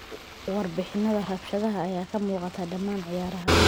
Warbixinnada rabshadaha ayaa ka muuqday dhammaan ciyaaraha.